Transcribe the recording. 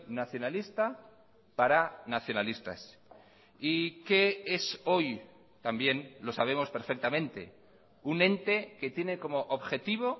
nacionalista para nacionalistas y qué es hoy también lo sabemos perfectamente un ente que tiene como objetivo